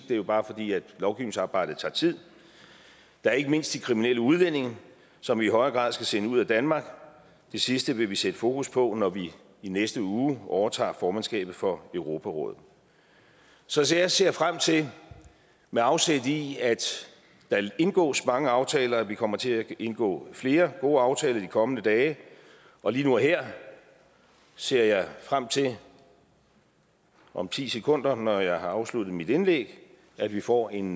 det er bare fordi lovgivningsarbejdet tager tid der er ikke mindst de kriminelle udlændinge som vi i højere grad skal sende ud af danmark det sidste vil vi sætte fokus på når vi i næste uge overtager formandskabet for europarådet så så jeg ser frem til med afsæt i at der indgås mange aftaler at vi kommer til at indgå flere gode aftaler i de kommende dage og lige nu og her ser jeg frem til om ti sekunder når jeg har afsluttet mit indlæg at vi får en